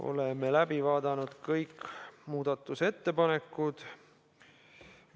Oleme läbi vaadanud kõik muudatusettepanekud.